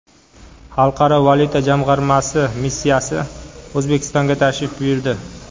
Xalqaro valyuta jamg‘armasi missiyasi O‘zbekistonga tashrif buyurdi.